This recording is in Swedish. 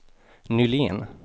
Nylén